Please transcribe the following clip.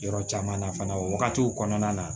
Yɔrɔ caman na fana o wagatiw kɔnɔna na